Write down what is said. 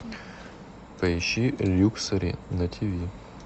поищи люксори на тв